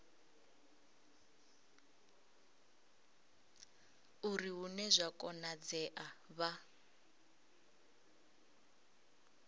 uri hune zwa konadzea vha